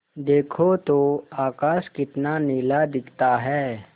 देखो तो आकाश कितना नीला दिखता है